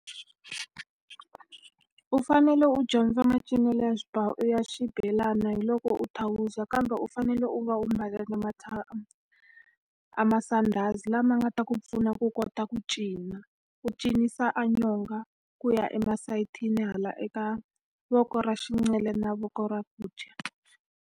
U fanele u dyondza macinelo ya ya xibelani hi loko u thawuza kambe u fanele u va u mbale na a masandhazi lama nga ta ku pfuna ku kota ku cina. U cinisa a nyonga ku ya emasayitini, hala eka voko ra na voko ra ku dya.